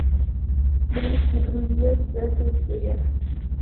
близкие друзья девятая серия